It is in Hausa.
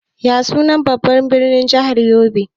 Ya sunan babban birnin jahar yobe?